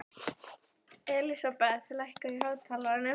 Elísabeth, lækkaðu í hátalaranum.